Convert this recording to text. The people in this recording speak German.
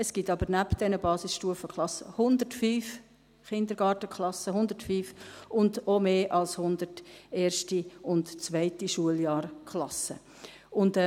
Es gibt aber neben diesen Basisstufenklassen 105 Kindergartenklassen – 105! – und auch mehr als 100 erste und zweite Schuljahrklassen.